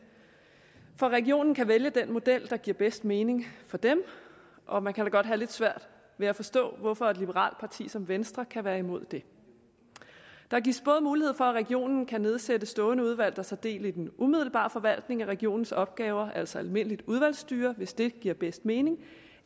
for regionen kan vælge den model der giver bedst mening for dem og man kan da godt have lidt svært ved at forstå hvorfor et liberalt parti som venstre kan være imod det der gives både mulighed for at regionen kan nedsætte stående udvalg der tager del i den umiddelbare forvaltning af regionens opgaver altså almindeligt udvalgsstyre hvis det giver bedst mening